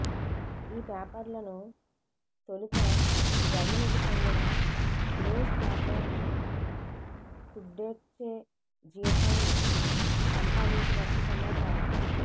ఈ పేపర్లను తొలుత జర్మనికి చెందిన న్యూస్పేపర్ సుడ్డేట్చే జీటంగ్ సంపాదించినట్టు సమాచారం